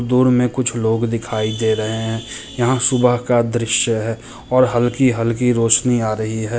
दूर में कुछ लोग दिखाई दे रहे हैं यहाँ सुबह का दृश्य है और हलकी-हलकी रोशनी आ रही है।